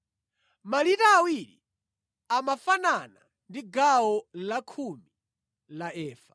(Malita awiri amafanana ndi gawo lakhumi la efa).